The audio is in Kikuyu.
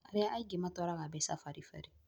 arĩa angĩ matwaraga mbeca baribari